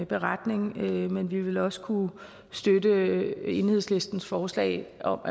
beretning men vi vil også kunne støtte enhedslistens forslag om